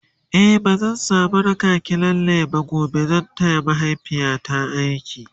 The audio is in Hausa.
a'a bazan samu raki ki lalle ba gobe zan taya mahaifiyata aiki